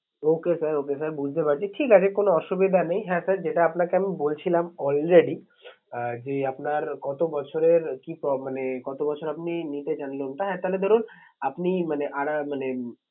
Okay sir okay sir বুঝতে পারছি ঠিক আছে কোনো অসুবিধা নেই। হ্যাঁ sir যেটা আপনাকে আমি বলছিলাম already আহ যে আপনার কত বছরের কি মানে কত বছর আপনি নিতে চান loan টা হ্যাঁ তাহলে ধরুন আপনি মানে মানে